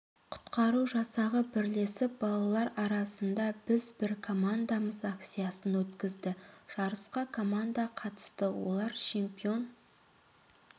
құтқару жасағы бірлесіп балалар арасында біз бір командамыз акциясын өткізді жарысқа команда қатысты олар чемпионы